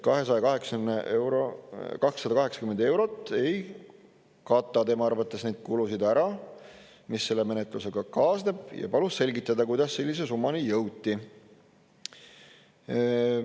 280 eurot ei kata tema arvates neid kulusid ära, mis selle menetlusega kaasneb, ja palus selgitada, kuidas sellise summani jõuti.